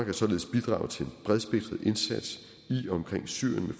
har således bidraget til en bredspektret indsats i og omkring syrien